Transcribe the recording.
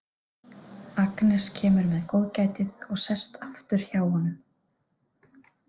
Agnes kemur með góðgætið og sest aftur hjá honum.